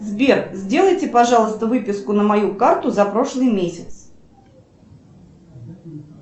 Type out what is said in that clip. сбер сделайте пожалуйста выписку на мою карту за прошлый месяц